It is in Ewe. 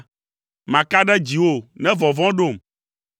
Maka ɖe dziwò ne vɔvɔ̃ ɖom.